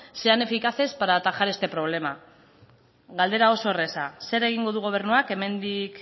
sean eficaces para atajar este problema galdera osa erraza zer egingo du gobernuak hemendik